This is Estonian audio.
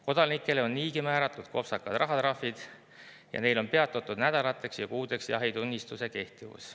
Kodanikele on niigi määratud kopsakad rahatrahvid ja neil on peatatud nädalateks ja kuudeks jahitunnistuse kehtivus.